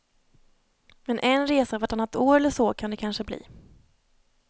Men en resa vartannat år eller så kan det kanske bli.